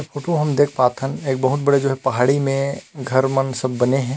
Photo हम देख पात हन एक बहुत बड़े पहाड़ी में घर मन सब बने हे।